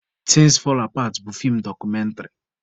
Thins fall apart bụ feem dọkụmentrị